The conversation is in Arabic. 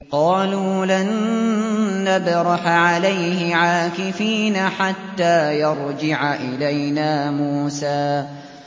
قَالُوا لَن نَّبْرَحَ عَلَيْهِ عَاكِفِينَ حَتَّىٰ يَرْجِعَ إِلَيْنَا مُوسَىٰ